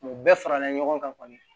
Mɛ u bɛɛ farala ɲɔgɔn kan kɔni